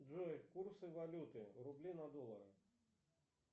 джой курсы валюты рубли на доллары